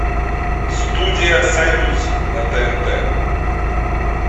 студия союз на тнт